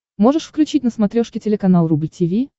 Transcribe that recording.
можешь включить на смотрешке телеканал рубль ти ви